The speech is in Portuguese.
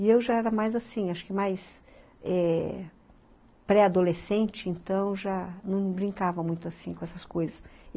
E eu já era mais assim, acho que mais é pré-adolescente, então já não brincava muito assim com essas coisas.